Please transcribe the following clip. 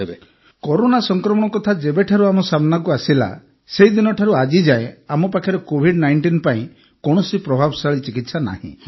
ଡା ନାୱିଦ୍କରୋନା ସଂକ୍ରମଣ କଥା ଯେବେଠାରୁ ଆମ ସାମ୍ନାକୁ ଆସିଲା ସେଦିନଠାରୁ ଆଜି ଯାଏ ଆମ ପାଖରେ କୋଭିଡ୍୧୯ ପାଇଁ କୌଣସି ପ୍ରଭାବଶାଳୀ ଚିକିତ୍ସା ନାହିଁ